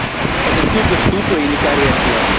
это супер тупо и некорректно